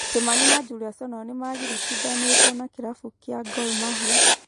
Kĩmani na Julius onao nĩmagiritithanĩtio na kĩrabu kĩa Gor Mahia